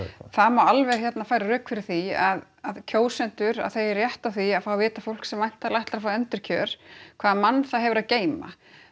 það má alveg færa rök fyrir því að kjósendur þeir eigi rétt á því að fá að vita um fólk sem væntanlega ætlar að fá endurkjör hvaða mann það hefur að geyma